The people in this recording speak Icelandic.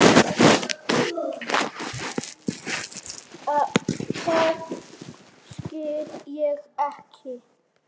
Það skil ég ekki.